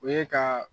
O ye ka